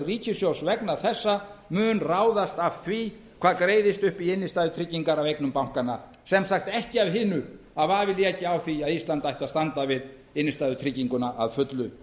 ríkissjóðs vegna þessa mun ráðast af því hvað greiðist upp í innstæðutryggingar af eignum bankanna sem sagt ekki af hinu að vafi léki á því að ísland ætti að standa við innstæðutrygginguna að fullu